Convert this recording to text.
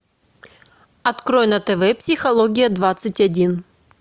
открой на тв психология двадцать один